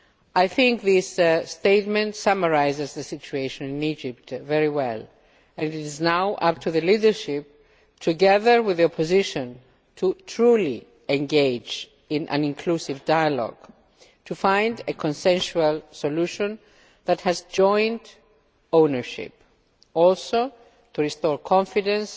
I think this statement summarises the situation in Egypt very well, and it is now up to the leadership, together with the opposition, to truly engage in an inclusive dialogue to find a consensual solution that has joint ownership also to restore confidence